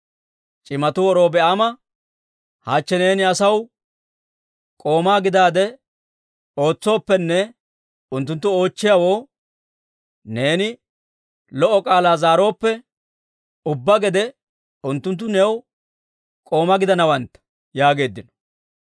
C'imatuu Robi'aama, «Hachche neeni asaw k'oomaa gidaade ootsooppenne unttunttu oochchiyaawoo neeni lo"o k'aalaa zaarooppe, ubbaa gede unttunttu new k'oomaa gidanawantta» yaageeddino.